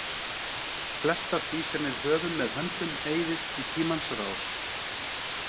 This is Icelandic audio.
Flest af því sem við höfum með höndum eyðist í tímans rás.